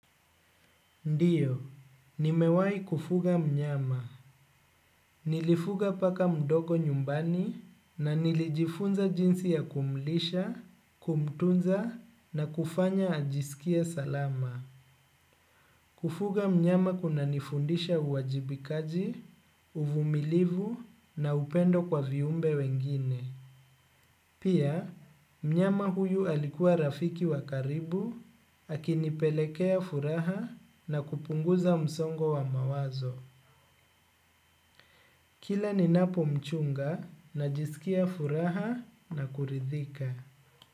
Ndio nimewai kufuga mnyama. Nilifuga paka mdogo nyumbani na nilijifunza jinsi ya kumlisha, kumtunza na kufanya ajisikie salama. Kufuga mnyama kunanifundisha uwajibikaji, uvumilivu na upendo kwa viumbe wengine. Pia, mnyama huyu alikuwa rafiki wa karibu, akinipelekea furaha na kupunguza msongo wa mawazo. Kila ninapomchunga najisikia furaha na kuridhika.